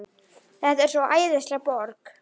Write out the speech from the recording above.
Þetta er svo æðisleg borg.